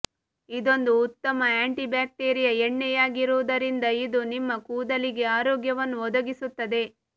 ಇದೊಂದು ಉತ್ತಮ anti bacteria ಎಣ್ಣೆಯಾಗಿರುವುದರಿಂದ ಇದು ನಿಮ್ಮ ಕೂದಲಿಗೆ ಆರೋಗ್ಯವನ್ನು ಒದಗಿಸುತ್ತದೆ